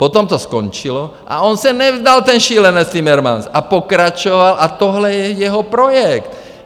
Potom to skončilo a on se nevzdal, ten šílenec Timmermans, a pokračoval, a tohle je jeho projekt.